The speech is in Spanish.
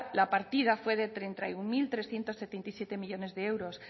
la partida fue de treinta y uno mil trescientos setenta y siete millónes de euros